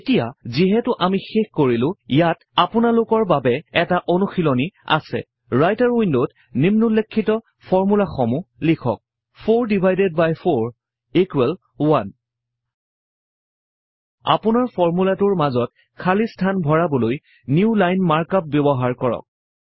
এতিয়া যিহেতু আমি শেষ কৰিলো ইয়াত আপোনালোকৰ বাবে এটা অনুশিলনী আছে ৰাইটাৰ উইন্ডত নিম্নোল্লেখিত ফৰমূলাসমূহ লিখা 4 ডিভাইডেড বাই 4 1 আপোনাৰ ফৰ্মূলাটোৰ মাজত খালি স্থান ভৰাবলৈ নিউ লাইন মাৰ্ক আপ ব্যৱহাৰ কৰক